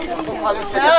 Ay da gedəcək.